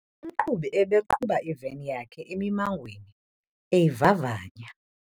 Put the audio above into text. Umqhubi ebeqhuba iveni yakhe emimangweni eyivavanya.